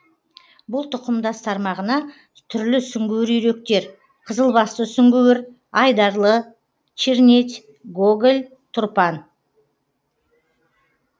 бұл тұқымдас тармағына түрлі сүңгуір үйректер қызылбасты сүңгуір айдарлы чернеть гоголь тұрпан